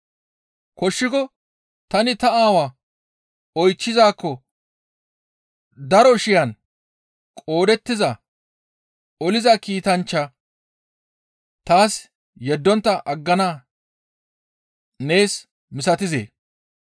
Koshshiko tani ta Aawaa oychchizaakko daro shiyan qoodettiza oliza kiitanchcha taas yeddontta aggana nees misatizee?